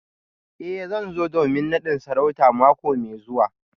Eh zan zo domin nadin sarauta mako mai zuwa